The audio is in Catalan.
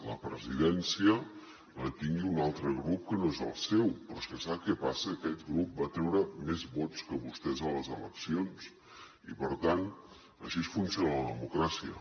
la presidència la tingui un altre grup que no és el seu però és que sap què passa aquest grup va treure més vots que vostès a les eleccions i per tant així funciona la democràcia